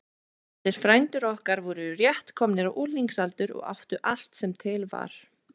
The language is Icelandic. Þessir frændur okkar voru rétt komnir á unglingsaldur og áttu allt sem til var.